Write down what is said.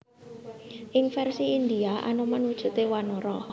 Ing vèrsi Indhia Anoman wujudé wanara